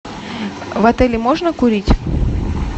в отеле можно курить